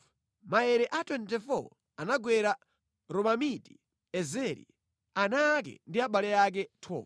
Maere a 24 anagwera Romamiti-Ezeri, ana ake ndi abale ake 12. Alonda a pa Zipata